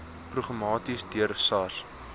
programmaties deur sars